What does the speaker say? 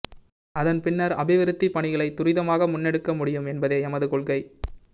அதன் பின்னர் அபிவிருத்திப் பணிகளை துரிதமாக முன்னெடுக்கமுடியும் என்பதே எமது கொள்கை